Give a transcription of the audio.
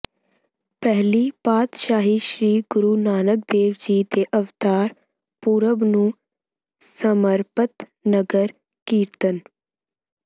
ਪਹਿਲੀ ਪਾਤਸ਼ਾਹੀ ਸ੍ਰੀ ਗੁਰੂ ਨਾਨਕ ਦੇਵ ਜੀ ਦੇ ਅਵਤਾਰ ਪੁਰਬ ਨੂੰ ਸਮਰਪਤ ਨਗਰ ਕੀਰਤਨ